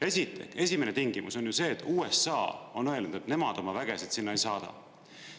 Esiteks, esimene tingimus on see, et USA on öelnud, et nemad oma vägesid sinna ei saada.